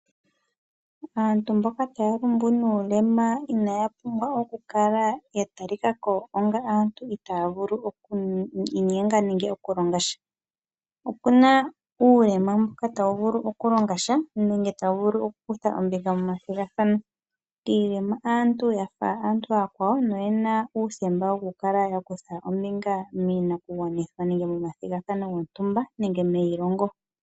Aantu mboka taya longo nuulema inaya pumbwa oku kala ya talikako onga aantu itaya vulu oku inyenga nenge oku longa sha. Okuna uulema mboka tawu vulu oku longa sha nenge tawu vulu oku kutha ombinga momathigathano. Iilema aantu yafa aantu aakwawo, na oyena uuthemba woku kala ya kutha ombinga miinakugwanithwa nenge momathigathano gontumba nenge meilongo.